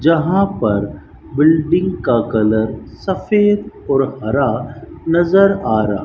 यहां पर बिल्डिंग का कलर सफेद और हरा नजर आ रहा --